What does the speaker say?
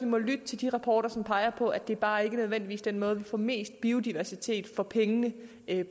må lytte til de rapporter som peger på at det bare ikke nødvendigvis er den måde vi får mest biodiversitet for pengene